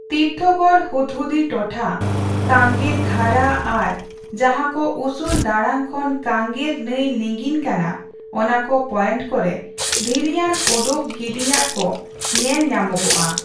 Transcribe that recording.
ᱛᱤᱨᱛᱷᱚᱜᱚᱲ ᱦᱩᱫᱽᱦᱩᱫᱤ ᱴᱚᱴᱷᱟ, ᱠᱟᱝᱜᱮᱨ ᱫᱷᱟᱨᱟ ᱟᱨ ᱡᱟᱦᱟᱸᱠᱚ ᱩᱥᱩᱞ ᱫᱟᱲᱟᱝ ᱠᱷᱚᱱ ᱠᱟᱝᱜᱮᱨ ᱱᱟᱹᱭ ᱞᱤᱸᱜᱤᱱ ᱠᱟᱱᱟ, ᱚᱱᱟᱠᱚ ᱯᱚᱭᱮᱱᱴ ᱠᱚᱨᱮ ᱫᱷᱤᱨᱤᱭᱟᱱ ᱚᱰᱳᱠ ᱜᱤᱰᱤᱭᱟᱜᱼᱠᱚ ᱧᱮᱞ ᱧᱟᱢᱚᱜᱼᱟ ᱾